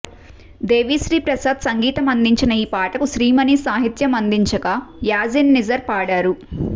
దేవిశ్రీ ప్రసాద్ సంగీతం అందించిన ఈ పాటకు శ్రీమణి సాహిత్యం అందించగా యాజిన్ నిజర్ పాడారు